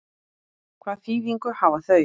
Hvaða þýðingu hafa þau?